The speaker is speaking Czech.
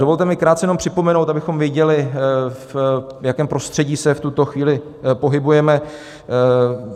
Dovolte mi krátce jenom připomenout, abychom věděli, v jakém prostředí se v tuto chvíli pohybujeme.